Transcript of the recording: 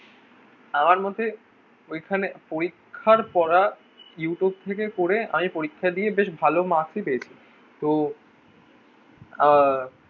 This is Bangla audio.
আমার মতে ঐখানে পরীক্ষার পড়া you tube থেকে পড়ে আমি পরীক্ষা দিয়ে বেশ ভালো marks ই পেয়েছি তো আহ